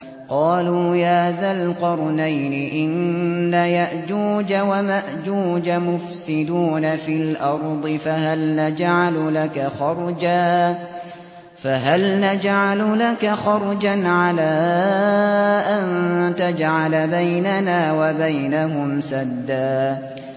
قَالُوا يَا ذَا الْقَرْنَيْنِ إِنَّ يَأْجُوجَ وَمَأْجُوجَ مُفْسِدُونَ فِي الْأَرْضِ فَهَلْ نَجْعَلُ لَكَ خَرْجًا عَلَىٰ أَن تَجْعَلَ بَيْنَنَا وَبَيْنَهُمْ سَدًّا